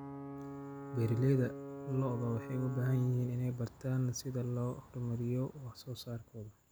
Beeralayda lo'da waxay u baahan yihiin inay bartaan sida loo horumariyo wax soo saarkooda.